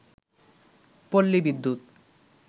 পল্লী বিদ্যুৎ